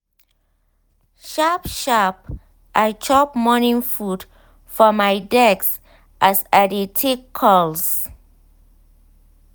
sharp sharp i chop morning food for my desk as i dey take calls